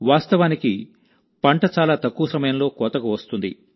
వాస్తవానికిపంట చాలా తక్కువ సమయంలో సిద్ధంగా ఉంటుంది